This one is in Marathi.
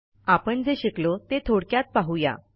आपण जे शिकलो ते थोडक्यात पाहू या